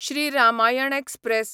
Shri Ramayan express